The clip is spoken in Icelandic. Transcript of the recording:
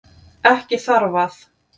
Ekki þarf að